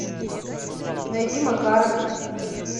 найди макаров